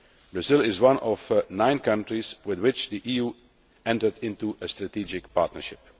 Brazil is one of nine countries with which the EU has entered into a strategic partnership.